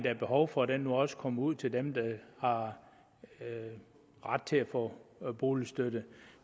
er behov for nu også kommer ud til dem der har ret til at få boligstøtte